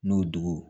N'o dugu